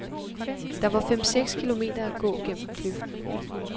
Der var fem seks kilometer at gå gennem kløften.